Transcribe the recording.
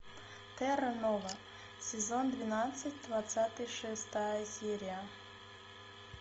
терра нова сезон двенадцать двадцать шестая серия